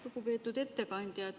Lugupeetud ettekandja!